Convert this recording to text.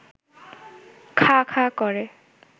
খাঁ খাঁ করে